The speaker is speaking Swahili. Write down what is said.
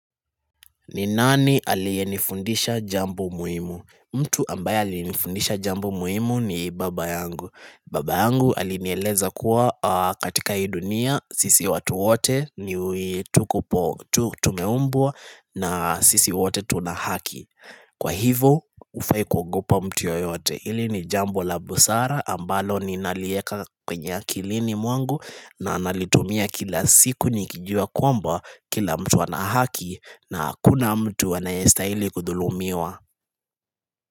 Ni nani aliyenifundisha jambo muhimu? Mtu ambaye alinifundisha jambo muhimu ni baba yangu. Baba yangu alinieleza kuwa katika hii dunia sisi watu wote ni tuko po tumeumbwa na sisi wote tuna haki. Kwa hivo hufai kuogopa mtu yoyote. Hili ni jambo la busara ambalo ninalieka kwenye akilini mwangu na nalitumia kila siku nikijua kwamba kila mtu ana haki na hakuna mtu anayestahili kudhulumiwa.